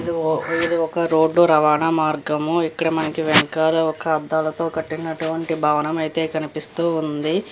ఇది ఇది ఒక రోడ్ రవాణా మార్గము. ఇక్కడ మనకు వెనకాలా ఒక అద్దాలతో కట్టినట్టు వంటి భవనము అయితే కనిపిస్తూ ఉంది.